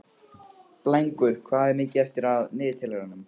Blængur, hvað er mikið eftir af niðurteljaranum?